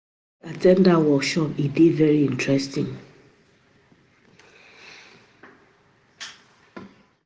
I dey like at ten d dat workshop, e dey very interesting